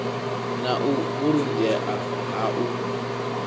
na u vhulungea ha u